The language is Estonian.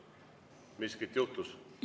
Miskit juhtus?